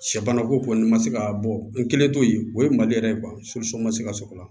Sɛ banako kɔ ni ma se ka bɔ n kɛlen t'o ye o ye mali yɛrɛ ye kuwa ma se ka sɔr'o la